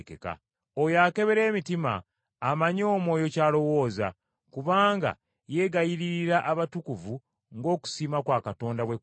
Oyo akebera emitima, amanyi Omwoyo ky’alowooza, kubanga yeegayiririra abatukuvu ng’okusiima kwa Katonda bwe kuli.